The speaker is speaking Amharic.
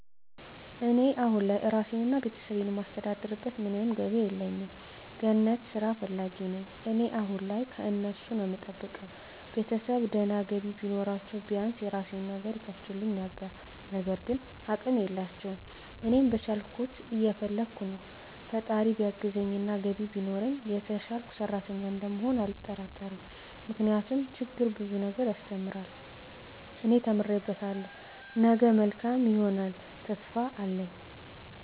እኔ አሁን ላይ ራሴን እና ቤተሰቤን የማስተዳድርበት ምንም ገቢ የለኝም። ገነት ስራ ፈላጊ ነኝ እኔ አሁን ላይ ከነሱ ነዉ እምጠብቀው፣ ቤተሰብ ድና ገቢ ቢኖራችዉ ቢያንስ የራሴን ነገር ይከፍቱልኝ ነበር ግን አቅም የላቸውም። እኔም በቻልኩት እየፈለከ ነው ፈጣራ ቢያግዘኝ ገቢ ቢኖረኝ የተሸሸልኩ ሰሪተኛ እንደምሆን አልጠራጠርም ምክንያቱም ችግር ብዙ ነገር ያሰተምራል እኔ ተምሬበታለሁ ነገ መልካም ይሆነልተሰፊፋ አለኝ።